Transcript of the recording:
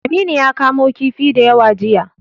Aminu ya kamo kifi da yawa jiya.